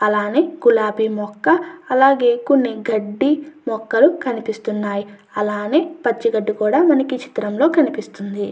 అలానే గులాబీ మొక్క అలాగే కొన్ని గడ్డి మొక్కలు కనిపిస్తున్నాయి అలానే పచ్చిగడ్డి కూడా మనకి ఈ చిత్రంలో కనిపిస్తుంది.